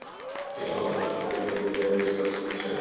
Í langflestum tilfellum greinist það því seint.